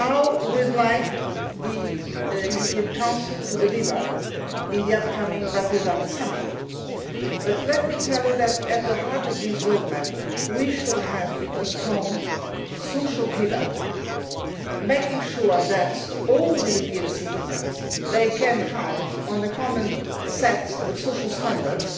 We would now like the European Council to deliver at the upcoming Bratislava summit, but let me tell you that, at the heart of this roadmap, we should have a strong social pillar, making sure that all European citizens can count on a common set of social standards